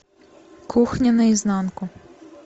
кухня наизнанку